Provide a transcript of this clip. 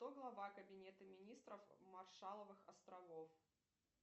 кто глава кабинета министров маршалловых островов